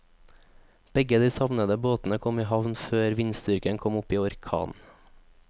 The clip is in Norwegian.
Begge de savnede båtene kom i havn før vindstyrken kom opp i orkan.